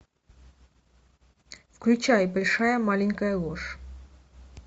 включай большая маленькая ложь